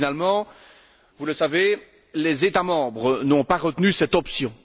Finalement, vous le savez, les États membres n'ont pas retenu cette option.